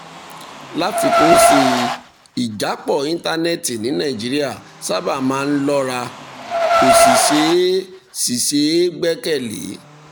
láfikún sí i ìjápọ̀ íńtánẹ́ẹ̀tì ní nàìjíríà sábà máa ń lọ́ra kò sì ṣeé sì ṣeé gbẹ́kẹ̀ lé